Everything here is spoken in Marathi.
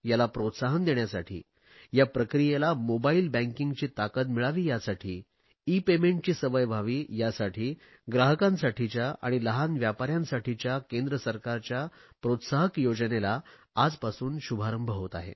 याला प्रोत्साहन देण्यासाठी या प्रक्रियेला मोबाईल बँकींगची ताकद मिळावी यासाठी ईपेमेंटची सवय व्हावी यासाठी ग्राहकांसाठीच्या आणि लहान व्यापाऱ्यांसाठीच्या केंद्र सरकारच्या प्रोत्साहक योजनेला आजपासून शुभारंभ होत आहे